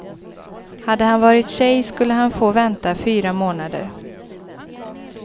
Hade han varit tjej skulle han få vänta fyra månader.